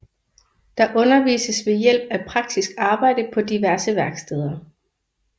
Der undervises ved hjælp af praktisk arbejde på diverse værksteder